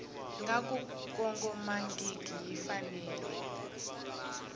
nga ku kongomangiki yi fanele